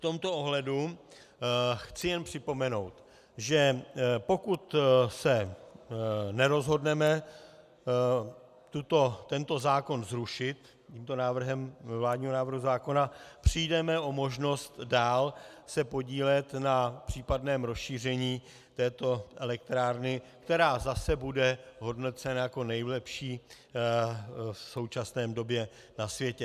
V tomto ohledu chci jen připomenout, že pokud se nerozhodneme tento zákon zrušit tím návrhem vládního návrhu zákona, přijdeme o možnost dál se podílet na případném rozšíření této elektrárny, která zase bude hodnocena jako nejlepší v současné době na světě.